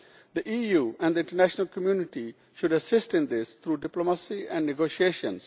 The EU and the international community should assist in this through diplomacy and negotiations.